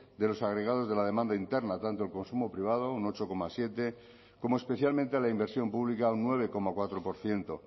de los agregados de la demanda interna tanto el consumo privado un ocho coma siete como especialmente a la inversión pública un nueve coma cuatro por ciento